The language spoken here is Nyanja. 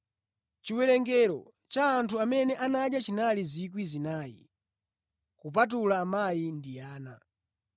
Chiwerengero cha anthu amene anadya chinali 4,000 kupatula amayi ndi ana.